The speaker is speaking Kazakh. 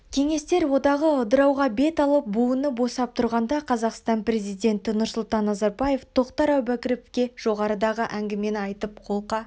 кеңестер одағы ыдырауға бет алып буыны босап тұрғанда қазақстан президенті нұрсұлтан назарбаев тоқтар әубәкіровке жоғарыдағы әңгімені айтып қолқа